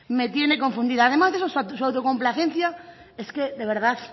me tiene confundida además de su autocomplacencia es que de verdad